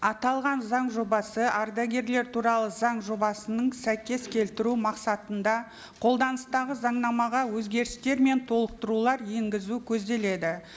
аталған заң жобасы ардагерлер туралы заң жобасының сәйкес келтіру мақсатында қолданыстағы заңнамаға өзгерістер мен толықтырулар енгізу көзделеді